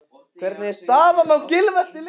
Hvernig er staðan á Gylfa eftir leikinn?